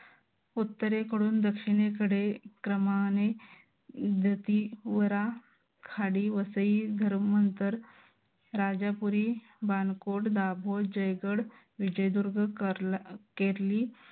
उत्तरेकडून दक्षिणेकडे क्रमाने खाडी, वसई, धर्मांतर, राजापुरी, बाणकोट, दाभोळ, जयगड, विजयदुर्ग, केरली